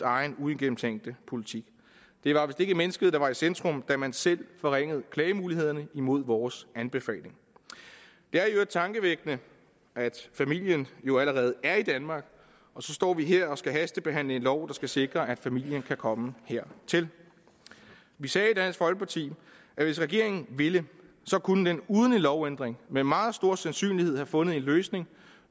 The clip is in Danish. egen uigennemtænkte politik det var vist ikke mennesket der var i centrum da man selv forringede klagemulighederne imod vores anbefaling det er i øvrigt tankevækkende at familien jo allerede er i danmark og så står vi her og skal hastebehandle en lov der skal sikre at familien kan komme hertil vi sagde i dansk folkeparti at hvis regeringen ville kunne den uden en lovændring med meget stor sandsynlighed have fundet en løsning